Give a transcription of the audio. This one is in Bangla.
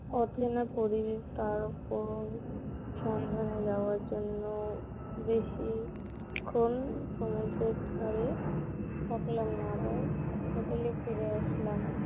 এখনো করিনি, তারপর সন্ধ্যা নামার জন্য বেশিক্ষন সমুদ্রের ধারে থাকলাম না আবার, Hotel এ ফিরে আসলাম